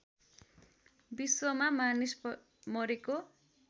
विश्वमा मानिस मरेको